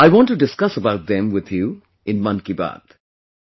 I want to discuss about them with you in 'Mann Ki Baat'